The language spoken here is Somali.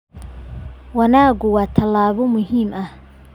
Wanaaggu waa tallaabo muhiim ah.